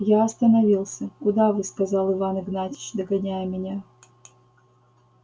я остановился куда вы сказал иван игнатьич догоняя меня